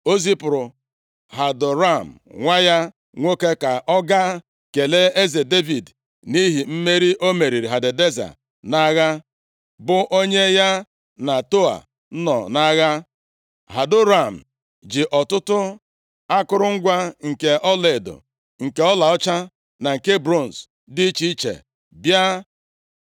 o zipụrụ Hadoram nwa ya nwoke, ka ọ gaa kelee eze Devid nʼihi mmeri o meriri Hadadeza nʼagha, bụ onye ya na Tou nọ nʼagha. Hadoram ji ọtụtụ akụrụngwa nke ọlaedo, nke ọlaọcha na nke bronz dị iche iche bịa.